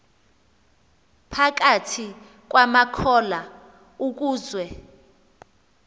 phakathi kwamakholwa ukuze